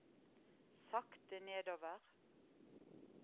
sakte nedover